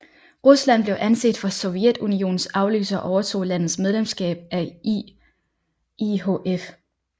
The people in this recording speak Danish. Rusland blev anset for Sovjetunionens afløser og overtog landets medlemskab af IIHF